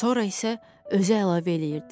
Sonra isə özü əlavə eləyirdi.